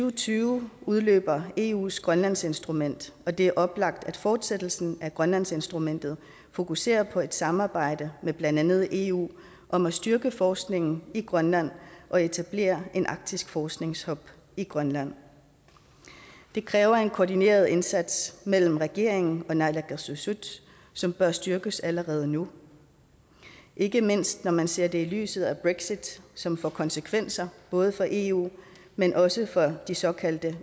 og tyve udløber eus grønlandsinstrument og det er oplagt at fortsættelsen af grønlandsinstrumentet fokuserer på et samarbejde med blandt andet eu om at styrke forskningen i grønland og etablere et arktisk forskningshub i grønland det kræver en koordineret indsats mellem regeringen og naalakkersuisut som bør styrkes allerede nu ikke mindst når man ser det i lyset af brexit som får konsekvenser både for eu men også for de såkaldte